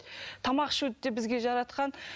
тамақ ішуді де бізге жаратқан